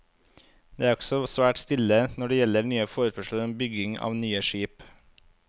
Det er også svært stille når det gjelder nye forespørsler om bygging av nye skip.